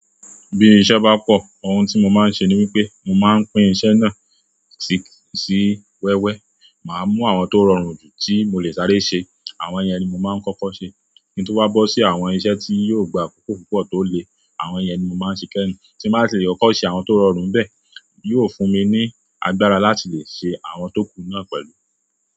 Bí iṣẹ́ bá pọ̀, ohun tí mo máa ń ṣe ni wípé mo máa ń pín iṣẹ́ náà sí, sí wẹ́wẹ́. Máa mú àwọn tó rọrùn jù tí mo lè sáré ṣe, àwọn yẹn ni mo máa ń kọ́kọ́ ṣe. Kín tó wá bọ́ sí àwọn iṣẹ́ tí yóò gba àkókò púpọ̀ tó le, àwọn yẹn ni mo máa ń ṣe kẹ́yìn. Ti mbá tilè kọ́kọ́ ṣe àwọn tó rọrùn ńbẹ̀ yóò fún mi ní agbára láti lè ṣe àwọn tó kù náà pẹ̀lú.